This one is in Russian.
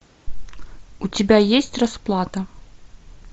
у тебя есть расплата